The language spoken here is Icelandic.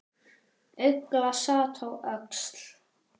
Ugla sat á öxl.